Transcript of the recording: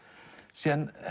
síðan